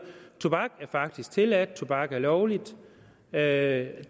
tobak er faktisk tilladt tobak er lovligt det er